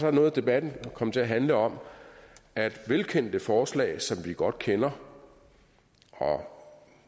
er noget af debatten kommet til at handle om at velkendte forslag som vi godt kender og